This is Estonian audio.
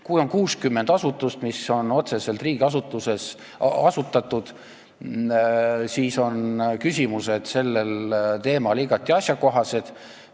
Kui on 60 asutust, mis on otseselt riigi asutatud, siis on küsimused sellel teemal igati asjakohased.